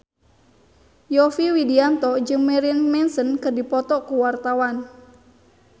Yovie Widianto jeung Marilyn Manson keur dipoto ku wartawan